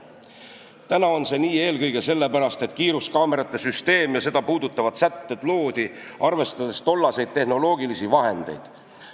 Täna on see nii eelkõige sellepärast, et kiiruskaamerate süsteem ja seda puudutavad sätted loodi, arvestades tollaseid tehnoloogilisi vahendeid.